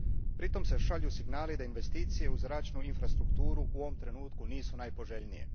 Pritom se šalju signali da investicije u zračnu infrastrukturu u ovom trenutku nisu najpoželjnije.